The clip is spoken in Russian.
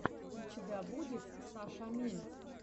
у тебя будет сашамин